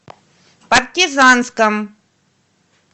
партизанском